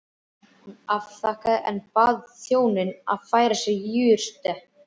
Hún afþakkaði en bað þjóninn að færa sér jurtate.